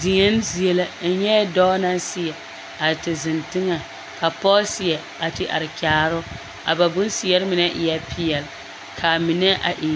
Deɛn zie la n nyɛɛ dɔɔ naŋ seɛ a te zeŋ teŋɛŋ ka pɔɔ seɛ a te are kyaare o a ba bonseɛre mine eɛɛ peɛl ka a mine e